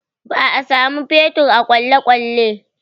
Ba a sa man fetur a kwalekwale